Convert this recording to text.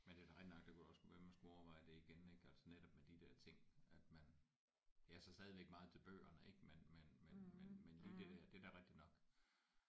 Men det er da rigtigt nok det kunne da også godt være man skulle overveje det igen altså netop med de der ting at man jeg er så stadigvæk meget til bøgerne ik men men men men men lige det der da er da rigtigt nok